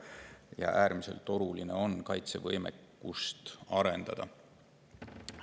Ja äärmiselt oluline on kaitsevõimekust arendada.